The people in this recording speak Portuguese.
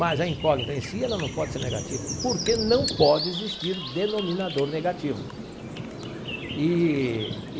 Mas a incógnita em si, ela não pode ser negativa, porque não pode existir denominador negativo eee.